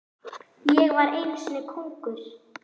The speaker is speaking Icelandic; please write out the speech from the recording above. Ég var kóngur í korter.